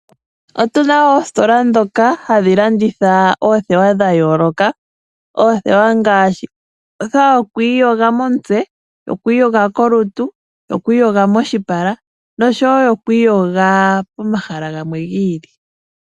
Otu na oositola dhoka hadhi landitha oothewa dha yooloka. Oothewa ngaashi othewa yo ku iyoga momutse, yo ku iyoga kolutu, yo ku iyoga moshipala noshowo yo ku iyoga pomahala gamwe gi ili.